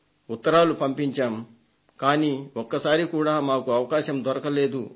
ఉత్తరాలు పంపించాం కానీ ఒక్కసారి కూడా మాకు అవకాశం దొరకలేదు